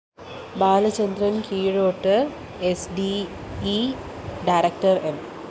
Balachandran‍ Keezhoth S D E director M